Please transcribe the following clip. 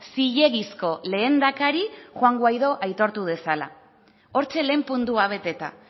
zilegizko lehendakari juan guaidó aitortu dezala hortxe lehen puntua beteta